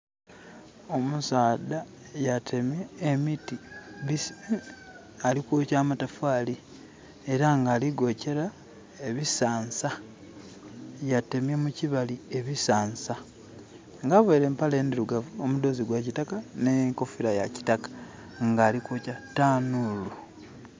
Omusaadha yatemye emiti alikwokya matafali era nga aligokyera ebisansa. Yatemye mukibali ebisansa nga avaire empale endirugavu no mudoozi gwa kitaka ne nkofira ya kitaka nga alikugya ku tanulu